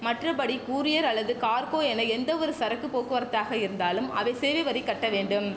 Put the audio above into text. மற்றபடி கூரியர் அல்லது கார்கோ என எந்தவொரு சரக்கு போக்குவரத்தாக இருந்தாலும் அவை சேவை வரி கட்ட வேண்டும்